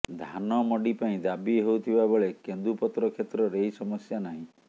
ଧାନ ମଣ୍ଡି ପାଇଁ ଦାବି ହେଉଥିବାବେଳେ କେନ୍ଦୁପତ୍ର କ୍ଷେତ୍ରରେ ଏହି ସମସ୍ୟା ନାହିଁ